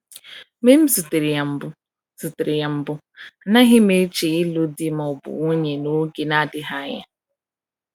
Mgbe m zutere ya mbụ, zutere ya mbụ, anaghị m eche ịlụ di ma ọ bụ nwunye n’oge na-adịghị anya.